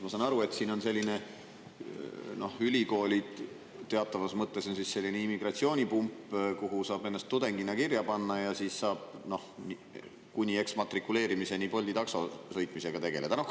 Ma saan aru, et ülikoolid teatavas mõttes on selline immigratsioonipump, kuhu saab ennast tudengina kirja panna ja siis saab kuni eksmatrikuleerimiseni Bolti takso sõitmisega tegeleda?